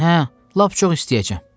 Hə, lap çox istəyəcəyəm.